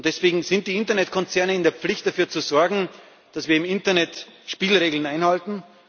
Und deswegen sind die Internetkonzerne in der Pflicht, dafür zu sorgen, dass wir im Internet Spielregeln einhalten.